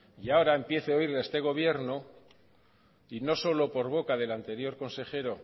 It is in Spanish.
y ahora empiezo a oírle a este gobierno y no solo por boca del anterior consejero